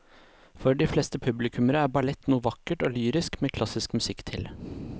For de fleste publikummere er ballett noe vakkert og lyrisk med klassisk musikk til.